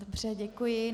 Dobře, děkuji.